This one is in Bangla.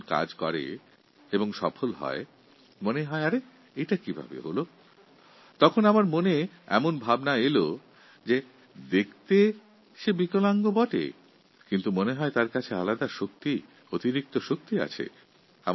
তাঁকে যখন কাজ করতে দেখি তাঁর কার্যক্ষমতার প্রতি আমাদের দৃষ্টি পরে তখন আশ্চর্যান্বিত হয়ে ভাবি ও কাজটা কীভাবে সম্পূর্ণ করছে তখন আমার মনে হয় আমাদের দৃষ্টিতে হয়ত সে বিকলাঙ্গ কিন্তু অভিজ্ঞতা বলে ওর কাছে কিছু এক্সট্রাপাওয়ার আছে অতিরিক্ত শক্তি আছে